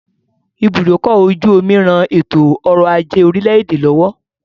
Ibùdókọ̀-ojú-omi ran ètò-ọrọ̀-ajé orílẹ̀-èdè lọ́wọ́